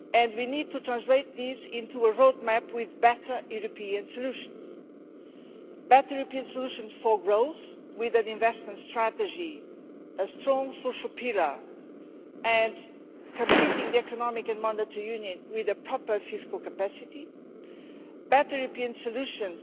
We need to translate this into a roadmap with better European solutions better European solutions for growth with an investment strategy, a strong social pillar and completing economic and monetary union with a proper fiscal capacity better European solutions